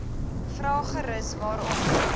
vra gerus waarom